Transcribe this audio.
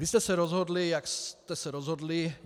Vy jste se rozhodli, jak jste se rozhodli.